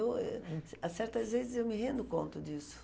Eu, certas vezes, eu me rendo conta disso.